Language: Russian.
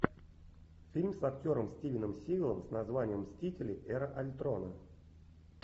фильм с актером стивеном сигалом с названием мстители эра альтрона